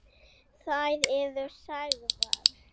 Þær eru sagðar.